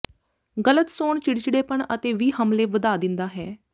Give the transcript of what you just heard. ਗਲਤ ਸੌਣ ਚਿੜਚਿੜੇਪਨ ਅਤੇ ਵੀ ਹਮਲੇ ਵਧਾ ਦਿੰਦਾ ਹੈ